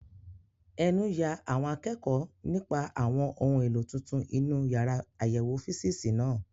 Ẹnu ya àwọn akẹ́kọ̀ọ́ nípa àwọn ohun èlò tuntun inú yàrá àyẹ̀wò físììsì náà.